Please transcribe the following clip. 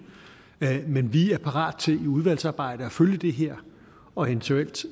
men vi er parat til i udvalgsarbejdet at følge det her og eventuelt